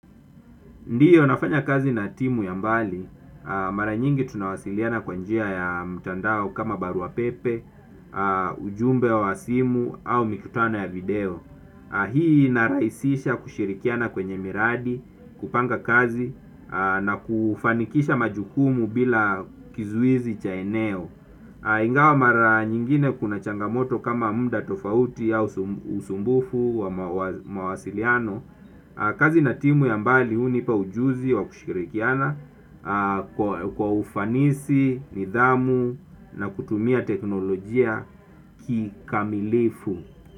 Ndiyo nafanya kazi na timu ya mbali, mara nyingi tunawasiliana kwanjia ya mtandao kama baruapepe, ujumbe wa simu au mikutano ya video. Hii inarahisisha kushirikiana kwenye miradi, kupanga kazi, na kufanikisha majukumu bila kizuizi cha eneo. Ingawa mara nyingine kuna changamoto kama mda tofauti au usumbufu wa mawasiliano. Kazi na timu ya mbali hunipa ujuzi wa kushirikiana kwa ufanisi, nidhamu na kutumia teknolojia kikamilifu.